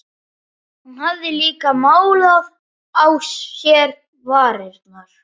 Hún hafði líka málað á sér varirnar.